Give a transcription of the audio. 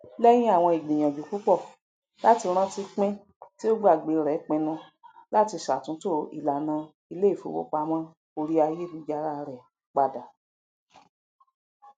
lẹyìn àwọn ìgbìyànjú púpọ láti rántí pin tí ó gbàgbé rẹ pinnu láti ṣàtúntò ìlànà iléifowopamọ orí ayélujára rẹ padà